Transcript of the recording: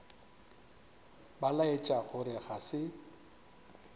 ba laetša gore ga se